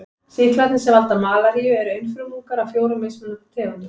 Sýklarnir sem valda malaríu eru einfrumungar af fjórum mismunandi tegundum.